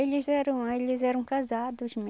Eles eram eles eram casados